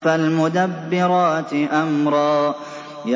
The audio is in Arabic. فَالْمُدَبِّرَاتِ أَمْرًا